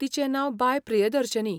तिचे नांव बाय प्रियदर्शिनी.